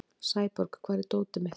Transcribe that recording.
Sæborg, hvar er dótið mitt?